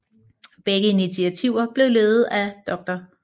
Begge initiativer blev ledet af dr